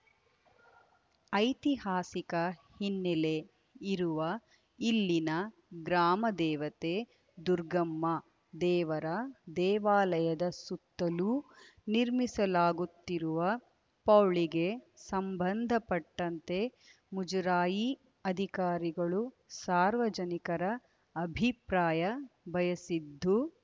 ಐತಿಹಾಸಿಕ ಹಿನ್ನೆಲೆ ಇರುವ ಇಲ್ಲಿನ ಗ್ರಾಮದೇವತೆ ದುರ್ಗಮ್ಮ ದೇವರ ದೇವಾಲಯದ ಸುತ್ತಲೂ ನಿರ್ಮಿಸಲಾಗುತ್ತಿರುವ ಪೌಳಿಗೆ ಸಂಬಂಧಪಟ್ಟಂತೆ ಮುಜರಾಯಿ ಅಧಿಕಾರಿಗಳು ಸಾರ್ವಜನಿಕರ ಅಭಿಪ್ರಾಯ ಬಯಸಿದ್ದು